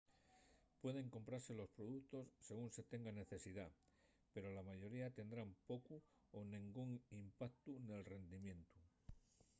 pueden comprase los productos según se tenga necesidá pero la mayoría tendrán pocu o nengún impactu nel rindimientu